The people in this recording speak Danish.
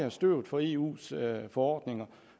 i støvet for eus forordninger